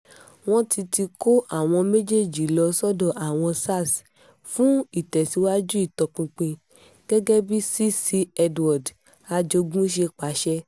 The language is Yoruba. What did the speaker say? wọ́n ti ti kó àwọn méjèèjì lọ sọ́dọ̀ àwọn sars fún ìtẹ̀síwájú ìtọpinpin gẹ́gẹ́ bí cc edward ajogun ṣe pàṣẹ